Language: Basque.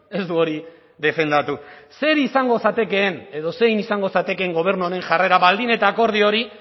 ez du hori defendatu zer izango zatekeen edo zein izango zatekeen gobernu honen jarrera baldin eta akordio hori